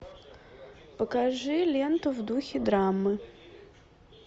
покажи ленту в духе драмы